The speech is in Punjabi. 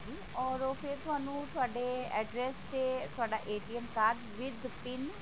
ਔਰ ਓਹ ਫੇਰ ਤੁਹਾਨੂੰ ਤੁਹਾਡੇ address ਤੇ ਤੁਹਾਡਾ card with pin